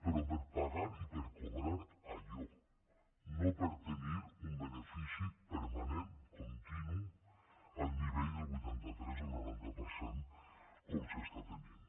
però per pagar i per cobrar allò no per tenir un benefici permanent continu al nivell del vuitanta tres o el noranta per cent com s’està tenint